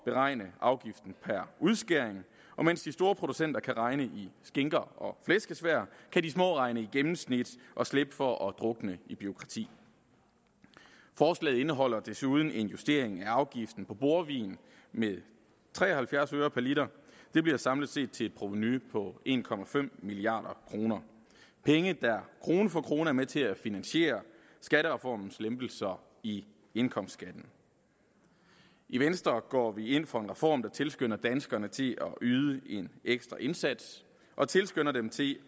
beregne afgiften per udskæring så mens de store producenter kan regne i skinker og flæskesvær kan de små regne i gennemsnit og slippe for at drukne i bureaukrati forslaget indeholder desuden en justering af afgiften på bordvin med tre og halvfjerds øre per liter det bliver samlet set til et provenu på en milliard kroner penge der krone for krone er med til at finansiere skattereformens lempelser i indkomstskatten i venstre går vi ind for en reform der tilskynder danskerne til at yde en ekstra indsats og tilskynder dem til